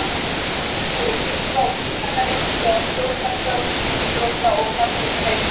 Björn hefur mikla og víðtæka reynslu af stjórnarstörfum í íþrótta- og knattspyrnuhreyfingunni.